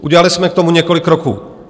Udělali jsme k tomu několik kroků.